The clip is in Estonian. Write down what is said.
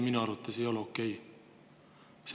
Minu arvates see ei ole okei.